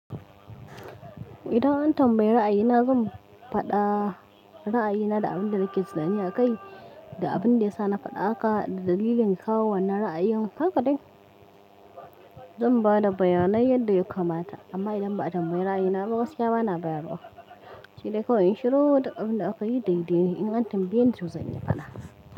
Idan an tambaye ra'ayina, zan faɗa ra'ayina da abin da yake suna. In ya kai da abin da ya sa na faɗa haka da dalilin kawo wannan ra'ayin haka dai, zan ba da bayanai yadda ya kamata. Amma idan ba a tambaye ra'ayina ba, wasu ya bana bayarwa. Shi dai kawai in shiru da abin da aka yi dai dai. In tambayeni to zan yi fada.